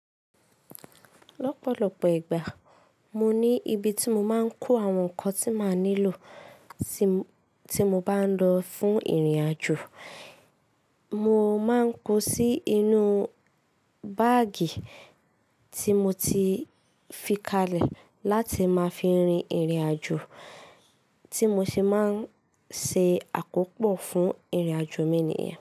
Lọ́pọ̀lọ́pọ̀ ìgbà mo ní ibi tí mo máa ń kó àwọn nǹkan tí màá nílò tí mo bá ń lọ fún ìrìnàjò. Mo máa ń kó sí inú báàgì tí mo ti fi kalẹ̀ láti máa fi rin ìrìnàjò tí mo ṣe máa ń ṣe àkópọ̀ fún ìrìnàjò mi nìyẹn.